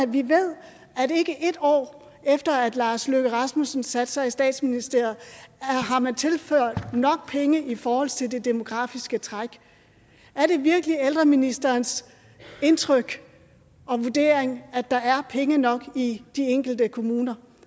vi ved at ikke et år efter at herre lars løkke rasmussen satte sig i statsministeriet har man tilført nok penge i forhold til det demografiske træk er det virkelig ældreministerens indtryk og vurdering at der er penge nok i de enkelte kommuner